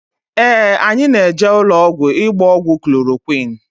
Ee, anyị na-eje ụlọọgwụ ịgba ọgwụ klorokwịn.